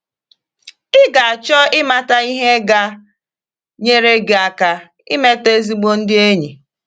Ị̀ ga - achọ ịmata ihe ga - nyere gị aka imete ezigbo ndị enyi?